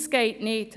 Das geht nicht!